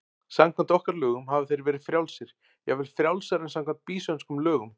Samkvæmt okkar lögum hafa þeir verið frjálsir, jafnvel frjálsari en samkvæmt býsönskum lögum.